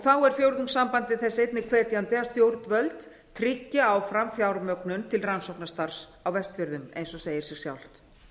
þá er fjórðungssambandið þess einnig hvetjandi að stjórnvöld tryggi áfram fjármögnun til rannsóknastarfs á vestfjörðum eins og segir sig sjálft